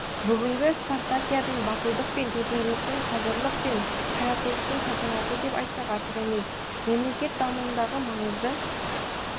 бүгінгі спартакиаданы батылдық пен төзімділіктің қажырлық пен қайраттылықтың салтанаты деп айтсақ артық емес мемлекет дамуындағы маңызды